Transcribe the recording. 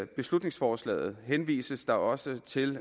beslutningsforslaget henvises der også til